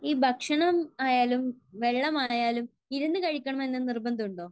ഈ ഭക്ഷണം ആയാലും വെള്ളം ആയാലും ഇരുന്നു കഴിക്കണമെന്ന് നിർബന്ധമുണ്ടോ?